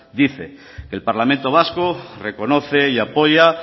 dice que el parlamento vasco reconoce y apoya